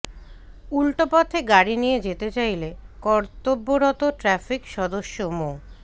উল্টোপথে গাড়ি নিয়ে যেতে চাইলে কতর্ব্যরত ট্রাফিক সদস্য মো